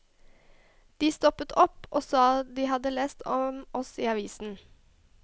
De stoppet opp og sa de hadde lest om oss i avisen.